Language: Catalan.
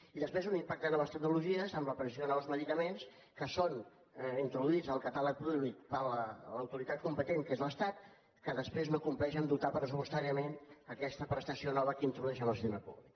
i després un impacte de noves tecnologies amb l’aparició de nous medicaments que són introduïts al catàleg públic per l’autoritat competent que és l’estat que després no compleix a dotar pressupostàriament aquesta prestació nova que introdueix en el sistema públic